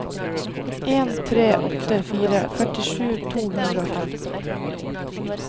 en tre åtte fire førtisju to hundre og femten